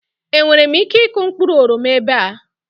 Enwere m ike ịkụ mkpụrụ oroma ebe a?